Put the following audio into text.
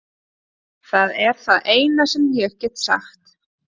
Það er það eina sem ég get sagt.